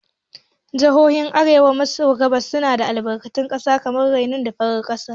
Jihohin arewa maso gabas suna da albarkatun ƙasa kamar uranium da farar ƙasa.